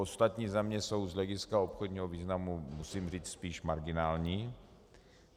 Ostatní země jsou z hlediska obchodního významu, musím říci, spíše marginální.